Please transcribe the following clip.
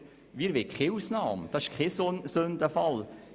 Wir wollen keine Ausnahme, und das ist kein Sündenfall.